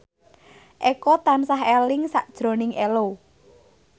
Eko tansah eling sakjroning Ello